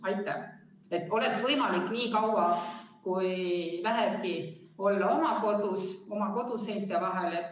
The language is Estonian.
Siis oleks võimalik inimesel nii kaua, kui vähegi saab, olla oma kodus, oma koduseinte vahel.